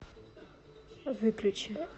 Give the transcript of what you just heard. выключи